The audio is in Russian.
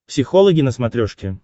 психологи на смотрешке